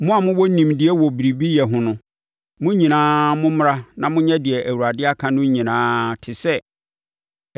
“Mo a mowɔ nimdeɛ wɔ biribi yɛ ho no, mo nyinaa mommra na monyɛ deɛ Awurade aka no nyinaa te sɛ: